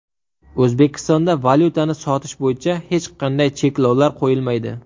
O‘zbekistonda valyutani sotish bo‘yicha hech qanday cheklovlar qo‘yilmaydi.